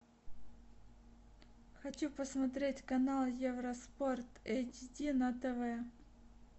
хочу посмотреть канал евроспорт эйч ди на тв